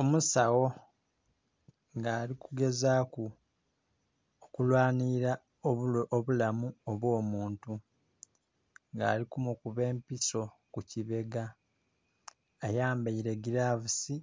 Omusagho nga ali kugezaku okulwanhilila obulamu obwo muntu nga ali kumukuba empiso ku kibega ayambaire gilavuusi,